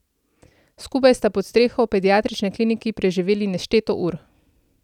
Skupaj sta pod streho pediatrične klinike preživeli nešteto ur.